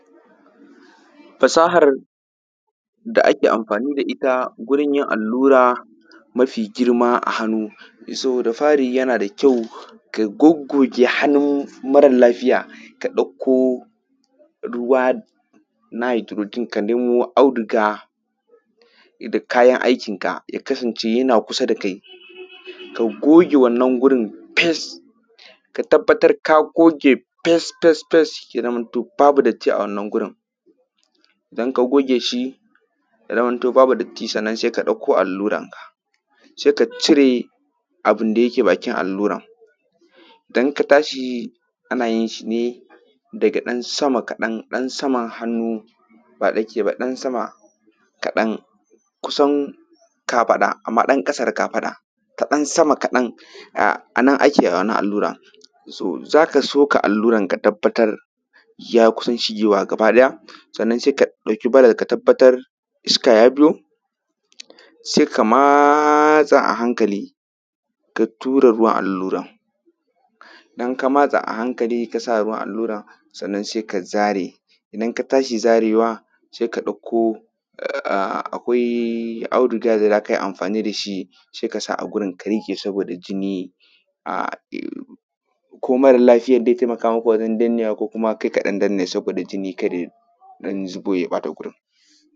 Fasahar da ake amfani da ita wurin yin allura mafi girma a hannu so da fari yana da kyau ka goggoge hannu mara lafiya ka ɗauko ruwa na hydrogen ka nemo audiga da kayan aikinka, ya kasance yana kusa da kai ka goge wannan wurin fes ka tabattar a goge fes fes fes. ya zamanto babu datti a wannan wurin idan ka goge shi ya zaman to babu datti sannan se ka ɗauko alluranka se ka cire abun da yake bakin alluran idan ka tashi ana yin shi ne daga ɗan sama kaɗan ɗan saman hannu ba tsakiya ba ɗan sama kaɗan kusan kafaɗa. Amma ɗan ƙasa da kafaɗa kaɗan, sama kaɗan a nan ake wannan alluran, so za ka soka alluran ka tabbatar ya kusan shigewa gabaɗaya sannan se ka ɗauki ɓaran ka tabbatar iska ya zo, se ka matsa a hankali ka tura ruwan allura. Idan ka matsa a hankali kasa ruwan alluran sannan se ka zare, idan ka tashi zarewa se ka ɗauko um akwai audiga da za kai amfani da shi, se ka sa a wurin ka riƙa saboda jinni, um ko mara lafiyan ze taimaka maka wajen dannewa ko kuma kai kaɗan danne saboda jini kada ya dan zubo ya ɓata wurin.